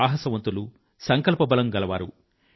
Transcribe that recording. సాహసవంతులు సంకల్పబలం గల వారు